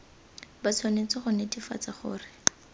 ba tshwanetse go netefatsa gore